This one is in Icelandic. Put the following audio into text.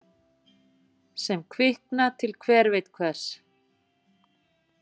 Sem kvikna til hver veit hvers.